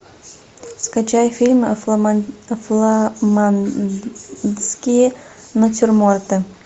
скачай фильм фламандские натюрморты